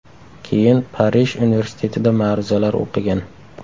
Keyin Parij universitetida ma’ruzalar o‘qigan.